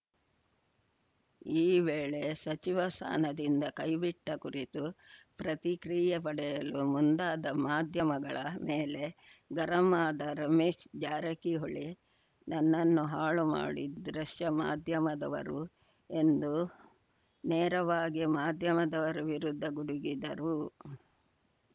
ಈ ವೇಳೆ ಸಚಿವ ಸ್ಥಾನದಿಂದ ಕೈಬಿಟ್ಟಕುರಿತು ಪ್ರತಿಕ್ರಿಯೆ ಪಡೆಯಲು ಮುಂದಾದ ಮಾಧ್ಯಮಗಳ ಮೇಲೆ ಗರಂ ಆದ ರಮೇಶ್‌ ಜಾರಕಿಹೊಳಿ ನನ್ನನ್ನು ಹಾಳು ಮಾಡಿದ್ದು ದೃಶ್ಯ ಮಾಧ್ಯಮದವರು ಎಂದು ನೇರವಾಗಿ ಮಾಧ್ಯಮದವರ ವಿರುದ್ಧ ಗುಡುಗಿದರು